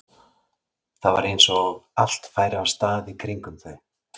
Það var eins og allt færi af stað í kringum þau.